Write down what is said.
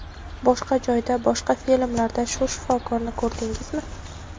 Boshqa joyda, boshqa filmlarda shu shifokorni ko‘rdingizmi?